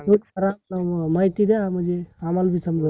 थोरा अ माहिती द्या म्हणजे, आम्हाला बी समजल